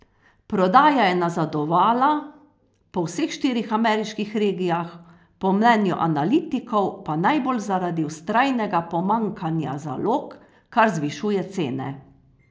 Prodaja je nazadovala po vseh štirih ameriških regijah, po mnenju analitikov pa najbolj zaradi vztrajnega pomanjkanja zalog, kar zvišuje cene.